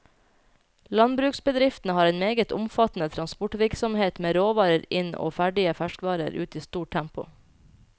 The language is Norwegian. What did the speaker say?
Landbruksbedriftene har en meget omfattende transportvirksomhet med råvarer inn og ferdig ferskvare ut i stort tempo.